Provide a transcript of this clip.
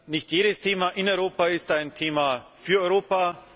Nicht jedes Thema in Europa ist ein Thema für Europa.